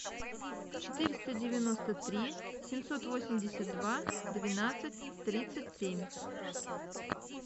четыреста девяносто три семьсот восемьдесят два двенадцать тридцать семь